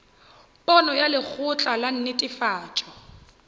pono ya lekgotla la netefatšo